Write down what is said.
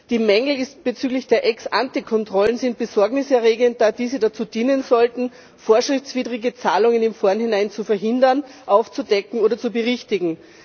Die Mängel bezüglich der Ex ante Kontrollen sind besorgniserregend, da diese dazu dienen sollten, vorschriftswidrige Zahlungen im Vorhinein zu verhindern, aufzudecken oder zu berichtigen.